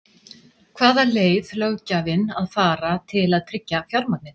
Hvaða leið löggjafinn að fara til að tryggja fjármagnið?